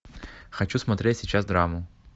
хочу смотреть сейчас драму